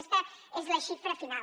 aquesta és la xifra final